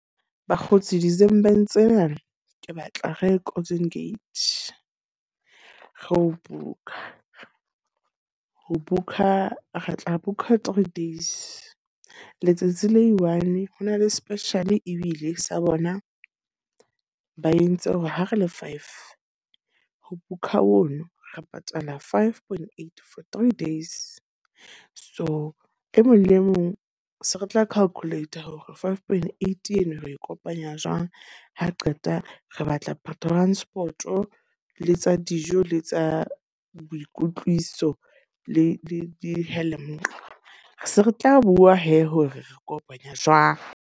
Bakgotsi December tsena ke batla re ye Golden Gate, ro booker. Ho booker re tla booker three days. Letsatsi le one, ho na le special ebile sa bona ba entse hore ha re le five ho book-a hono re patala five point eight for three days. So, e mong le mong se re tla calculate hore five point eight eno re kopanya jwang. Ha re qeta re batla transport, le tsa dijo, le tsa boikotlwiso le di . Se re tla bua he, hore re kopanya jwang.